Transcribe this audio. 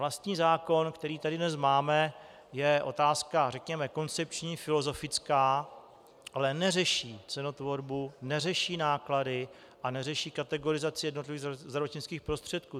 Vlastní zákon, který tady dnes máme, je otázka řekněme koncepční, filozofická, ale neřeší cenotvorbu, neřeší náklady a neřeší kategorizaci jednotlivých zdravotnických prostředků.